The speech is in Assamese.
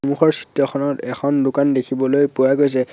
এখন দোকান দেখিবলৈ পোৱা গৈছে।